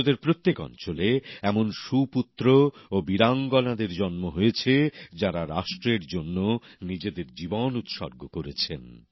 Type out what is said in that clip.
ভারতের প্রত্যেক অঞ্চলে এমন মহান পুত্র ও বীরাঙ্গনাদের জন্ম হয়েছে যাঁরা রাষ্ট্রের জন্য নিজেদের জীবন উৎসর্গ করেছেন